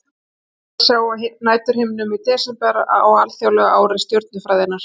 Margt er að sjá á næturhimninum í desember á alþjóðlegu ári stjörnufræðinnar.